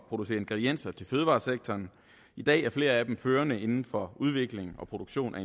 producere ingredienser til fødevaresektoren i dag er flere af dem førende inden for udvikling og produktion